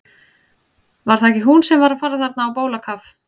Var það ekki hún sem var að fara þarna á bólakaf?